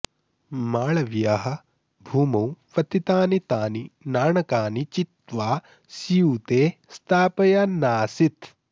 मालवीयः भूमौ पतितानि तानि नाणकानि चित्वा स्यूते स्थापयन्नासीत्